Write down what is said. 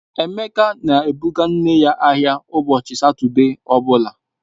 Ebuka na-ebụga nne ya ahịa ụbọchị Satọde ọ bụla